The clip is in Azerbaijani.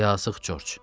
Yazıq Corc.